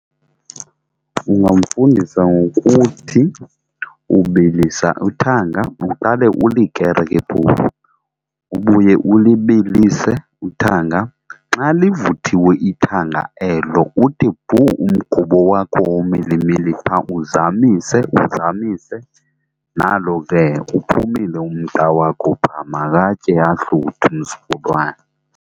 Ndingamfundisa ngokuthi ubilisa uthanga uqale ulikere ke phofu, ubuye ulibilise uthanga xa livuthiwe ithanga elo uthi bhuu umgubo wakho womilimili phaa uzamise uzamise. Nalo ke uphumile umqa wakho phaa, makatye ahluthe umzukulwane.